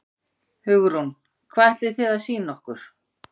Hugrún: Hvað ætlið þið að sýna okkur?